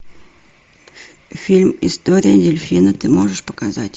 фильм история дельфина ты можешь показать